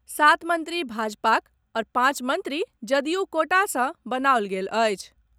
सात मंत्री भाजपाक आओर पांच मंत्री जदयू कोटा सँ बनाओल गेल अछि।